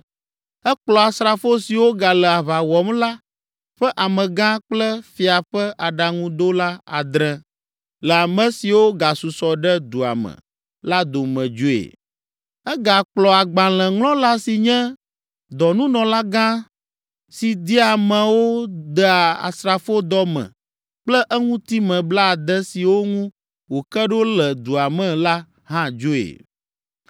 Ekplɔ asrafo siwo gale aʋa wɔm la ƒe amegã kple fia ƒe aɖaŋuɖola adre, le ame siwo gasusɔ ɖe dua me la dome dzoe. Egakplɔ agbalẽŋlɔla si nye dɔnunɔlagã si dia amewo dea asrafodɔ me kple eŋutime blaade siwo ŋu wòke ɖo le dua me la hã dzoe.